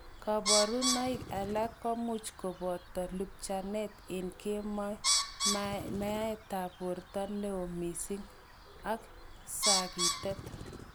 Koborunoik alak komuch koboto lupchanet en kemoi, maatab borto newo missing ak sakitet.